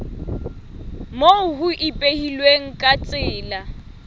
moo ho ipehilweng ka tsela